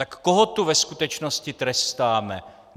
Tak koho tu ve skutečnosti trestáme?